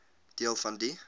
deel van die